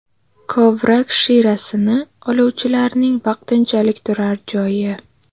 Kovrak shirasini oluvchilarning vaqtinchalik turar joyi.